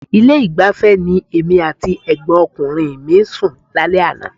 Ilé-ìgbafẹ́ ni èmi àti ẹ̀gbọ́nkùnrin mi sùn lálẹ́ àná.